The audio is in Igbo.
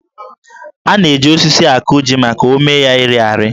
A na-eji osisi akọ jí maka ómé ya ịrị arị